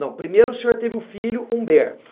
Não, primeiro o senhor teve o filho Humberto.